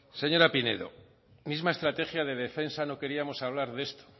señora pinedo misma estrategia de defensa no queríamos hablar de esto